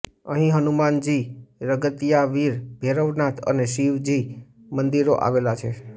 અહીં હનુમાનજી રગતિયાવીર ભૈરવનાથ અને શીવજી મંદિરો આવેલા છે